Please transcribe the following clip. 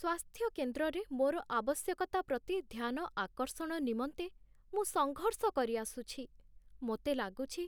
ସ୍ୱାସ୍ଥ୍ୟକେନ୍ଦ୍ରରେ ମୋର ଆବଶ୍ୟକତା ପ୍ରତି ଧ୍ୟାନ ଆକର୍ଷଣ ନିମନ୍ତେ ମୁଁ ସଙ୍ଘର୍ଷ କରିଆସୁଛି, ମୋତେ ଲାଗୁଛି,